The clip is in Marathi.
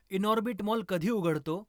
इनॉर्बिट मॉल कधी उघडतो